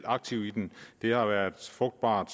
aktivt i den det har været frugtbart